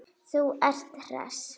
Þú ert hress!